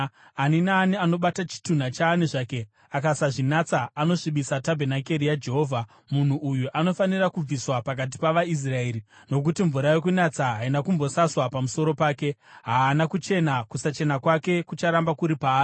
Ani naani anobata chitunha chaani zvake akasazvinatsa anosvibisa tabhenakeri yaJehovha. Munhu uyu anofanira kubviswa pakati pavaIsraeri. Nokuti mvura yokunatsa haina kumbosaswa pamusoro pake, haana kuchena; kusachena kwake kucharamba kuri paari.